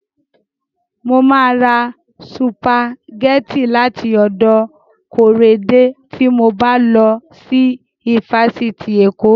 Mo ma ra sùpàgẹ́tì láti ọ̀dọ̀ Kóredé tí mo bá lọ sí ifásitì Èkó